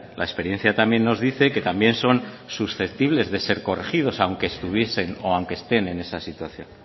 la experiencia también nos dice que también son susceptibles de ser corregidos aunque estuviesen o aunque estén en esa situación